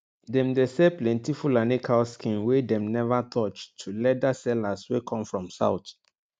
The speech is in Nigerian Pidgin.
dem dey sell plenti fulani cow skin wey dem never touch to leather sellers way come from south